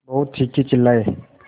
बहुत चीखेचिल्लाये